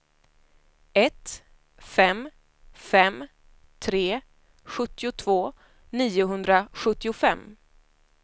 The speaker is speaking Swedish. ett fem fem tre sjuttiotvå niohundrasjuttiofem